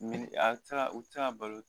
Minni a o tɛ se ka o tɛ se ka balo.